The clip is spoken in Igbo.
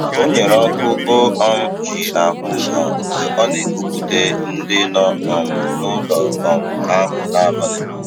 O nyere ọkụ o um ji ahụ ụzọ mgbe a na-ekupute ndị nọ um n'ụlọ um ahụ n'abalị.